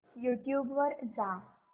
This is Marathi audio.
यूट्यूब वर जा